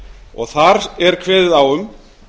og þar er kveðið á um